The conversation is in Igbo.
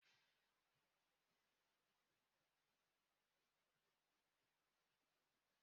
I ga egoli zinki na ahia a na-ere ihe e ji aru ulo